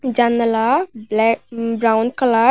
জানালা ব্ল্যা brown colour.